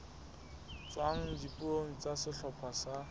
tswang dipuong tsa sehlopha sa